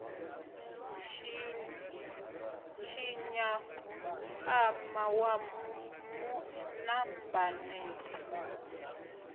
tshinya mpama wa mu nambatela